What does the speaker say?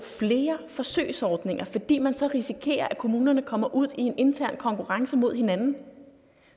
flere forsøgsordninger fordi man så risikerer at kommunerne kommer ud i en intern konkurrence med hinanden